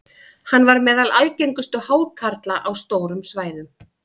hann var meðal algengustu hákarla á stórum svæðum